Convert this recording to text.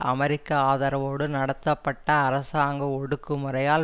அமெரிக்க ஆதரவோடு நடத்தப்பட்ட அரசாங்க ஒடுக்கு முறையால்